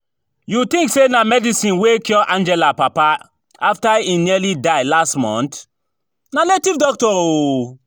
You think say na medicine wey cure Angela papa after im nearly die last month? Na native doctor oo